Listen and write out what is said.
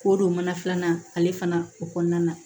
K'o don mana filanan na ale fana o kɔnɔna na